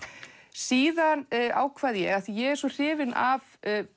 síðan ákvað ég af því ég er svo hrifin af